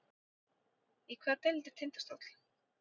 Í hvaða deild er Tindastóll?